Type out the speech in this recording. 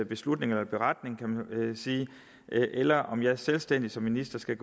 beslutning eller beretning kan man sige eller om jeg selvstændigt som minister skal